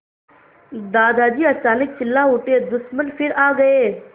दादाजी अचानक चिल्ला उठे दुश्मन फिर आ गए